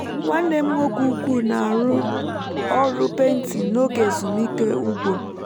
nwannem nwoke ukwu na-arụ ọrụ painting n’oge ezumike ugbo